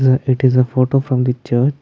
the it is a photo from the church.